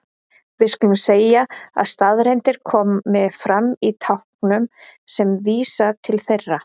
Við skulum segja að staðreyndir komi fram í táknum sem vísa til þeirra.